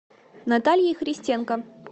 натальей христенко